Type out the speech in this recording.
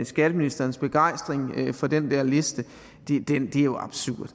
skatteministerens begejstring for den der liste er jo absurd